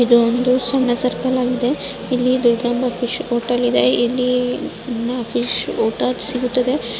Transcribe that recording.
ಇದು ಒಂದು ಸಣ್ಣ ಸರ್ಕಲ್ ಆಗಿದೆ. ಇಲ್ಲಿ ದುರ್ಗಾಂಬ ಫಿಶ್ ಹೋಟೆಲ್ ಇದೆ. ಇಲ್ಲಿ ಫಿಶ್ ಊಟ ಸಿಗುತ್ತದೆ.